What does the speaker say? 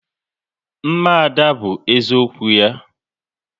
Mma Ada bụ eziokwu ya